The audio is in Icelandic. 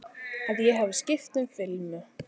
Að ég hafi skipt um filmu.